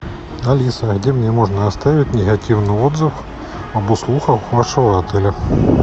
алиса где мне можно оставить негативный отзыв об услугах вашего отеля